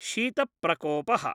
शीत प्रकोपः